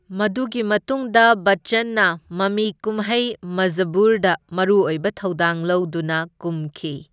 ꯃꯗꯨꯒꯤ ꯃꯇꯨꯡꯗ ꯕꯆꯆꯟꯅ ꯃꯃꯤ ꯀꯨꯝꯍꯩ ꯃꯖꯕꯨꯔꯗ ꯃꯔꯨ ꯑꯣꯏꯕ ꯊꯧꯗꯥꯡ ꯂꯧꯗꯨꯅ ꯀꯨꯝꯈꯤ꯫